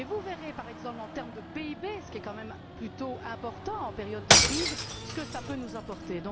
De plus, vous verrez, par exemple, qu'en termes de PIB ce qui est quand même plutôt important en période de crise ce que cela peut nous apporter.